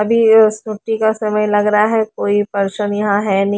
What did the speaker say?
अभी ओ सूटी का समय लग रहा है कोई पर्सन यहाँ है नही।